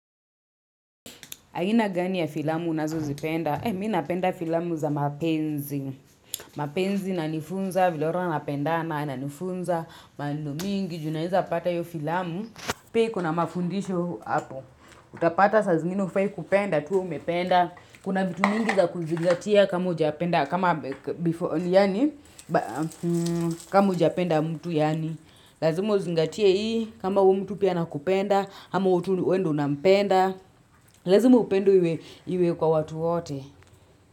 Aina gani ya filamu unazozipenda? Mimi napenda filamu za mapenzi. Mapenzi inanifunza, vile watu wanapendana inanifunza, mambo mingi, juu unaweza pata hiyo filamu. Pia iko na mafundisho hapo. Utapata saa zingini hufai kupenda, tu umependa. Kuna vitu mingi za kuzingatia kama ujapenda, kama ujapenda mtu yani. Lazima uzingatie hii, kama huyu mtu pia anakupenda, ama wewe tu ndiye unampenda lazima upendo iwe kwa watu wote.